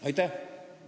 Aitäh!